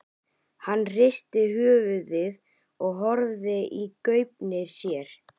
Hann hristi höfuðið og horfði í gaupnir sér.